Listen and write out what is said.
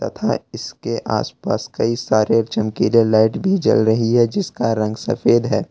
था इसके आसपास कई सारे चमकीले लाइट भी जल रही है जिसका रंग सफेद है।